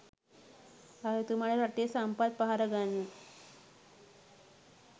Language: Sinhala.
රජතුමාට රටේ සම්පත් පහර ගන්න